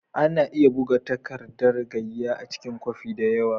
Ana iya buga tagardan gaiya cikin kwafi da yawa.